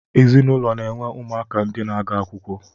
Ezinụlọ na-enwe ụmụaka ndi na-aga akwụkwọ